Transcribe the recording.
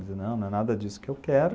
Não, não é nada disso que eu quero.